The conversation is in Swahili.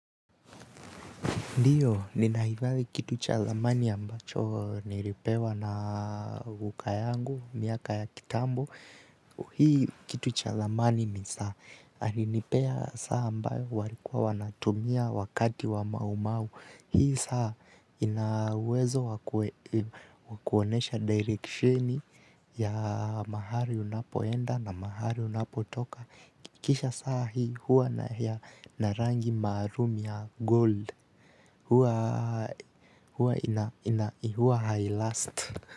Ndioz. Ninahifadhi kitu cha dhamani ambacho nilipewa na guka yangu miaka ya kitambo hii kitu cha dhamani ni saa. Alinipea saa ambayo walikuwa wanatumia wakati wa maumau. Hii saa ina uwezo wakuonyesha direksheni ya mahali unapoenda na mahali unapotoka. Kisha saa hii huwa na hii na rangi maalum ya gold. Huwa huwa ina ina huwa hailust.